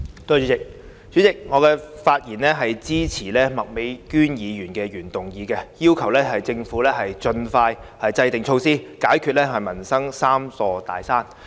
代理主席，我發言支持麥美娟議員的原議案，要求政府盡快制訂措施，解決民生的"三座大山"。